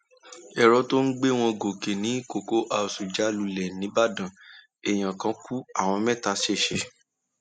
èrò tó ń gbé wọn gòkè ní cocoa house já lulẹ nígbàdàn èèyàn kan ku àwọn mẹta ṣẹṣẹ